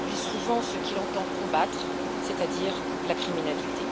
Il produit souvent ce qu'il entend combattre, c'est à dire la criminalité.